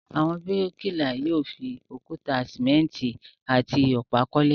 Àwọn bíríkìlà yóò fi òkúta, sìmẹ́ńtì àti ọ̀pá kọ́lé.